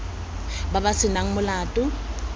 ba ba se nang molato